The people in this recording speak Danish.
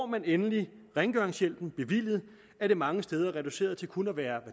man endelig rengøringshjælpen bevilget er det mange steder reduceret til kun at være